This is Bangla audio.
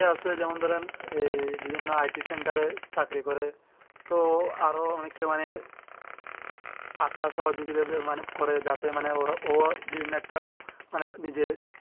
যেমন ধরেন আহ বিভিন্ন্ It center এ চাকরি করে তো আরো অনেকে মানে আশা যাতে ওরা ও মানে একটা মানে নিজেরা